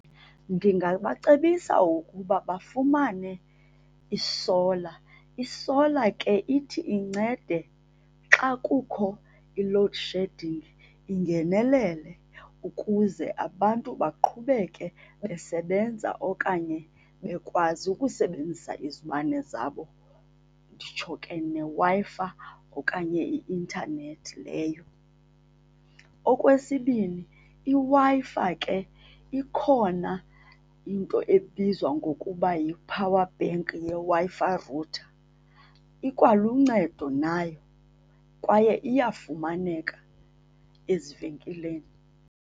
Ndingabacebisa ukuba bafumane isola. Isola ke ithi incede xa kukho i-load shedding, ingenelele ukuze abantu baqhubeke besebenza okanye bekwazi ukusebenzisa izibane zabo nditsho ke neWi-Fi okanye i-intanethi leyo. Okwesibini, iWi-Fi ke ikhona into ebizwa ngokuba yi-powerbank yeWi-Fi router. Ikwaluncedo nayo, kwaye iyafumaneka ezivenkileni.